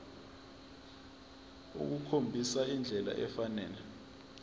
ukukhombisa indlela efanele